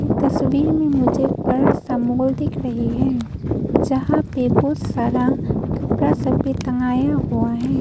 तस्वीर में मुझे एक बड़ा सा मॉल दिख रही है जहां पे बहुत सारा कपड़ा सब भी टंगाया हुआ है।